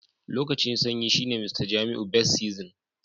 Lokacin sanyi shine Mr jamiu best season.